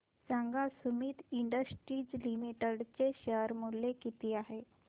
सांगा Sumeet industries limited चे share मूल्य किती आहे